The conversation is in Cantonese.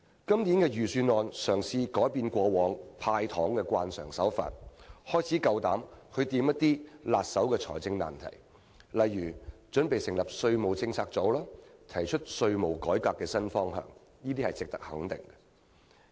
今年的預算案嘗試改變過往"派糖"的慣常手法，開始敢於觸碰一些棘手的財政難題，例如準備成立稅務政策組，提出稅務改革的新方向，這些都是值得肯定的做法。